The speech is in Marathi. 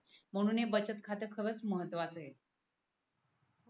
म्हणून हे बचत खाते खरच महत्वाचे आहे.